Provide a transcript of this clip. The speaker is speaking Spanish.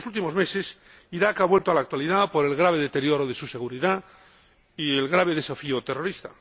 En los últimos meses, Irak ha vuelto a la actualidad por el grave deterioro de su seguridad y el importante desafío terrorista.